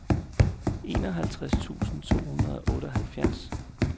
enoghalvtreds tusind to hundrede og otteoghalvfjerds